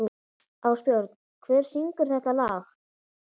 Ásbjörn, hver syngur þetta lag?